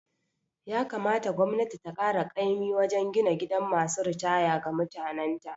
Ya kamata gwamnati ta kara kaimin wajen gina gidan masu ritaya ga mutanan ta